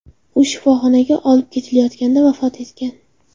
U shifoxonaga olib ketilayotganda vafot etgan.